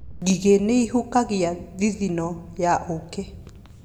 Ngigĩ nĩ ihũgagia thithino ya ũũkĩ.